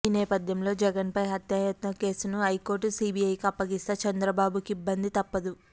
ఈనేపథ్యంలో జగన్పై హత్యాయత్నం కేసును హైకోర్టు సీబీఐకి అప్పగిస్తే చంద్రబాబుకు ఇబ్బంది తప్పదు